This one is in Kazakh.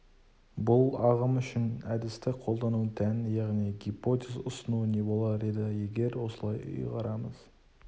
бұл ағым үшін әдісті қолдану тән яғни гипотез ұсыну не болар еді егер осылай ұйғарамыз